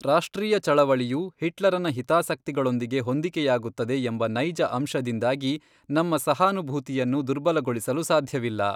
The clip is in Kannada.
ರಾಷ್ಟ್ರೀಯ ಚಳವಳಿಯು ಹಿಟ್ಲರನ ಹಿತಾಸಕ್ತಿಗಳೊಂದಿಗೆ ಹೊಂದಿಕೆಯಾಗುತ್ತದೆ ಎಂಬ ನೈಜ ಅಂಶದಿಂದಾಗಿ ನಮ್ಮ ಸಹಾನುಭೂತಿಯನ್ನು ದುರ್ಬಲಗೊಳಿಸಲು ಸಾಧ್ಯವಿಲ್ಲ.